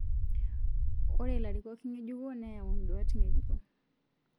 Ore larikok ng'ejuko neyau nduaat ng'ejuko